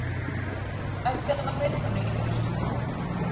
Ætti að ná metinu í haust